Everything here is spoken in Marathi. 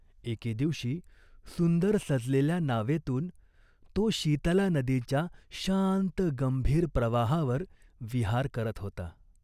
एके दिवशी सुंदर सजलेल्या नावेतून तो शीतला नदीच्या शांत गंभीर प्रवाहावर विहार करत होता.